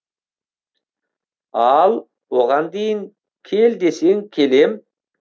ал оған дейін кел десең келем